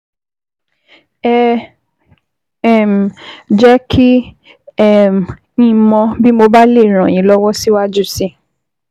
Ẹ um jẹ́ kí um n mọ̀ bí mo bá lè ràn yín lọ́wọ́ síwájú sí i